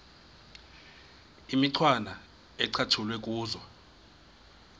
imicwana ecatshulwe kuzo